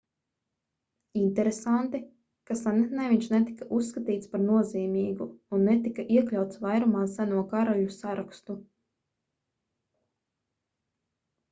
interesanti ka senatnē viņš netika uzskatīts par nozīmīgu un netika iekļauts vairumā seno karaļu sarakstu